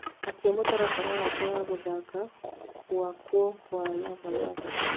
akĩa mũtaratara wakwa wa gũthaka gwakwa wa lava lava